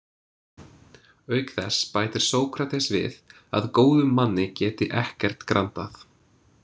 "Auk þess bætir Sókrates við ""að góðum manni geti ekkert grandað."